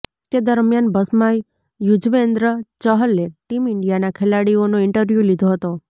તે દરમિયાન બસમાં યુજવેન્દ્ર ચહલે ટીમ ઈન્ડિયાના ખેલાડીઓનો ઈન્ટરવ્યૂ લીધો હતો